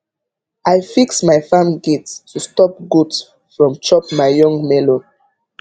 i fix my farm gate to stop goat from chop my young melon